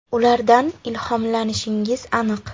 Ulardan ilhomlanishingiz aniq.